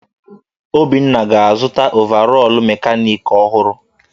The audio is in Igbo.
Obinna ga-azụta ọvarọọr mekanịkị ọhụrụ.